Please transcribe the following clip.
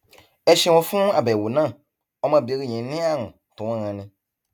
ẹ ṣeun fún àbẹwò náà ọmọbìnrin yín ní àrùn tó ń ranni